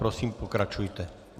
Prosím pokračujte.